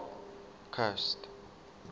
coast